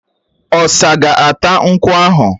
Ọ̀sa ga-áta nkwú ahụ